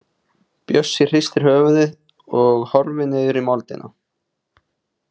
Bjössi hristir höfuðið og horfir niður í moldina.